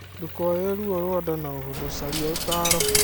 Ndũkoere ruo rwa ndana ũhũthũ caria ũtaaro.